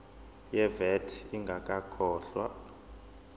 ye vat ingakakhokhwa